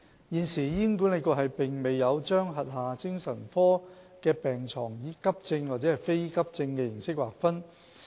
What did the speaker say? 現時，醫管局並沒有將轄下精神科的病床以急症或非急症形式劃分。